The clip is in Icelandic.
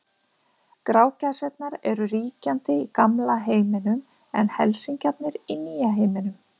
Grágæsirnar eru ríkjandi í gamla heiminum en helsingjarnir í nýja heiminum.